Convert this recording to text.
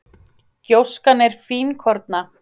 Gjóskan er fínkorna